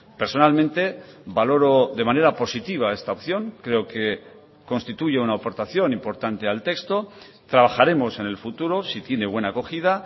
personalmente valoro de manera positiva esta opción creo que constituye una aportación importante al texto trabajaremos en el futuro si tiene buena acogida